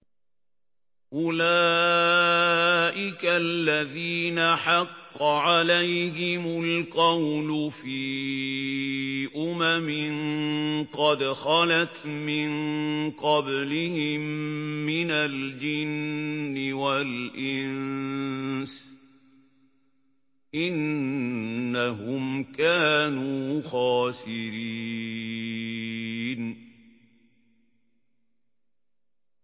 أُولَٰئِكَ الَّذِينَ حَقَّ عَلَيْهِمُ الْقَوْلُ فِي أُمَمٍ قَدْ خَلَتْ مِن قَبْلِهِم مِّنَ الْجِنِّ وَالْإِنسِ ۖ إِنَّهُمْ كَانُوا خَاسِرِينَ